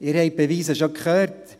Sie haben die Beweise schon gehört: